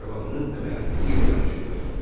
Arvadının əmək haqqı ilə yanaşı qoydu.